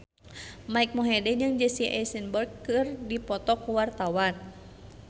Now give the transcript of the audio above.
Mike Mohede jeung Jesse Eisenberg keur dipoto ku wartawan